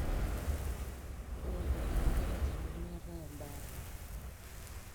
ore tekulie katitin nemeetae ebaata.